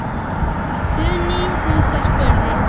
Guðný Hulda spurði